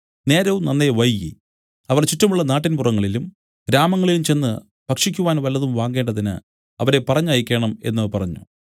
നേരവും നന്നേ വൈകി അവർ ചുറ്റുമുള്ള നാട്ടിൻപുറങ്ങളിലും ഗ്രാമങ്ങളിലും ചെന്ന് ഭക്ഷിക്കുവാൻ വല്ലതും വാങ്ങേണ്ടതിന് അവരെ പറഞ്ഞയക്കണം എന്നു പറഞ്ഞു